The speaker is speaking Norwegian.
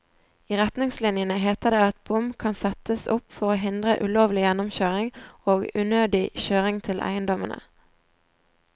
I retningslinjene heter det at bom kan settes opp for å hindre ulovlig gjennomkjøring og unødvendig kjøring til eiendommene.